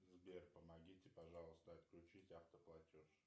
сбер помогите пожалуйста отключить автоплатеж